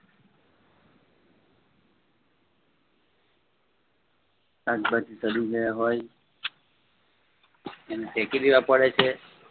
શાકભાજી સડી ગયા હોય એને ફેંકી દેવા પડે છે